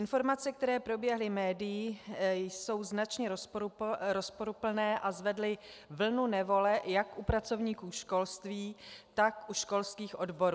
Informace, které proběhly médii, jsou značně rozporuplné a zvedly vlnu nevole jak u pracovníků školství, tak u školských odborů.